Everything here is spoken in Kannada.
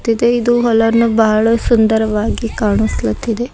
ಮತ್ತೆ ಇದು ಹೊಲನು ಬಹಳ ಸುಂದರವಾಗಿ ಕಾಣಿಸ್ತ್ಲಾತಿದೆ.